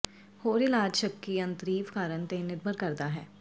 ਹੋਰ ਇਲਾਜ ਸ਼ੱਕੀ ਅੰਤਰੀਵ ਕਾਰਨ ਤੇ ਨਿਰਭਰ ਕਰਦਾ ਹੈ